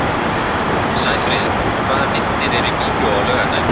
Sæfríður, hvaða myndir eru í bíó á laugardaginn?